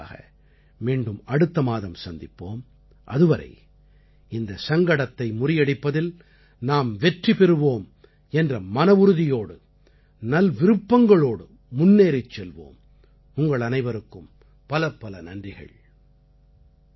மனதின் குரலுக்காக மீண்டும் அடுத்த மாதம் சந்திப்போம் அதுவரை இந்தச் சங்கடத்தை முறியடிப்பதில் நாம் வெற்றி பெறுவோம் என்ற மனவுறுதியோடு நல்விருப்பங்களோடு முன்னேறிச் செல்வோம் உங்கள் அனைவருக்கும் பலப்பல நன்றிகள்